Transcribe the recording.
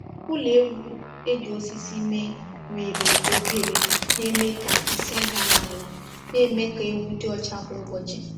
Ụlọ ewu e ji osisi mee nwere oghere na-eme ka nsị daa n’ala, na-eme ka ewu dị ọcha kwa ụbọchị.